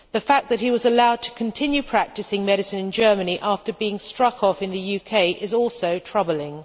The fact that he was allowed to continue practicing medicine in Germany after being struck off in the UK is also troubling.